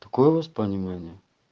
такое у вас поминание